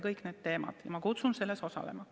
Ma kutsun selles osalema.